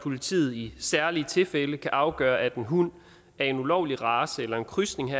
politiet i særlige tilfælde kan afgøre at en hund af en ulovlig race eller en krydsning